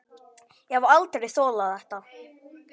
Ég hef aldrei þolað þetta